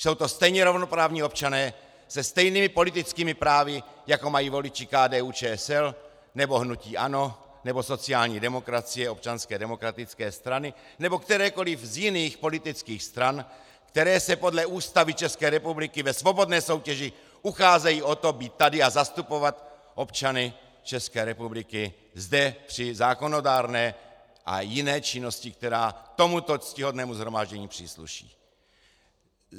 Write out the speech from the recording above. Jsou to stejně rovnoprávní občané se stejnými politickými právy, jako mají voliči KDU-ČSL nebo hnutí ANO nebo sociální demokracie, Občanské demokratické strany nebo kterékoliv z jiných politických stran, které se podle Ústavy České republiky ve svobodné soutěži ucházejí o to být tady a zastupovat občany České republiky zde při zákonodárné a jiné činnosti, která tomuto ctihodnému shromáždění přísluší.